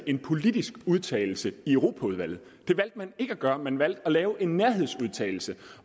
en politisk udtalelse i europaudvalget det valgte man ikke at gøre man valgte at lave en nærhedsudtalelse